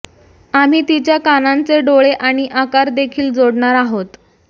आम्ही तिच्या कानांचे डोळे आणि आकार देखील जोडणार आहोत